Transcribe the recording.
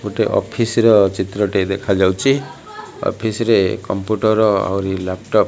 ଗୋଟେ ଅଫିସି ର ଚିତ୍ର ଟିଏ ଦେଖାଯାଉଚି ଅଫିସି ରେ କମ୍ପ୍ୟୁଟର ଆହୁରି ଲାପଟପ୍ --